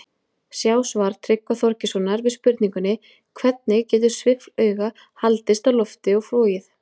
Sjá svar Tryggva Þorgeirssonar við spurningunni Hvernig getur sviffluga haldist á lofti og flogið?